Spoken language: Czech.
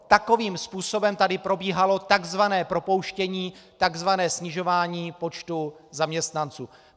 Takovým způsobem tady probíhalo tzv. propouštění, tzv. snižování počtu zaměstnanců.